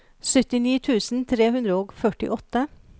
syttini tusen tre hundre og førtiåtte